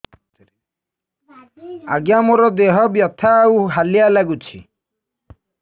ଆଜ୍ଞା ମୋର ଦେହ ବଥା ଆଉ ହାଲିଆ ଲାଗୁଚି